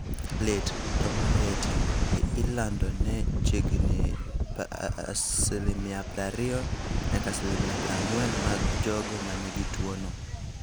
Lit (to moloyo e tiende) ilando ne chiegni 20% - 40% mag jogo ma nigi tuwono.